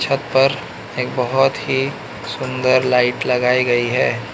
छत पर एक बहोत ही सुंदर लाइट लगाई गई है।